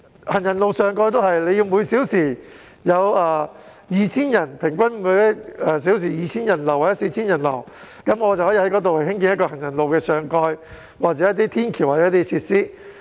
行人路上蓋亦如是，人流要達每小時平均 2,000 人次或 4,000 人次，政府才在那裏興建行人路上蓋或天橋等設施。